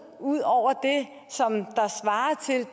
ud over